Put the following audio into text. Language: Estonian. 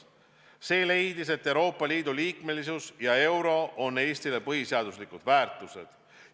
Selles lahendis leiti, et Euroopa Liidu liikmesus ja euro on Eesti jaoks põhiseaduslikud väärtused.